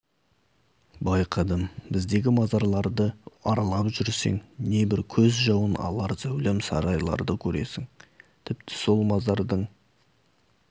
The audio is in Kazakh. байқадым біздегі мазарларды аралап жүрсең небір көз жауын алар зәулім сарайларды көресің тіпті сол мазардың